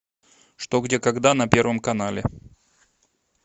что где когда на первом канале